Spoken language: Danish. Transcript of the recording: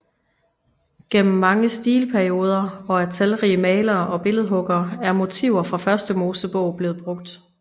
Gennem mange stilperioder og af talrige malere og billedhuggere er motiver fra Første Mosebog blevet brugt